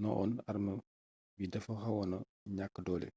no one arme bi dafa xawoona ñàkk doole